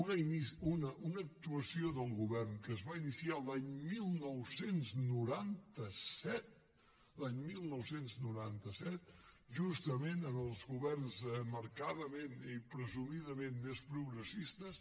una actuació del govern que es va iniciar l’any dinou noranta set l’any dinou noranta set justament amb els governs marcadament i presumidament més progressistes